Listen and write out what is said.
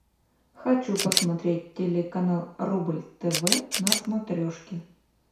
хочу посмотреть телеканал рубль тв на смотрешке